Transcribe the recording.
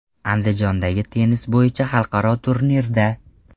Andijondagi tennis bo‘yicha xalqaro turnirda.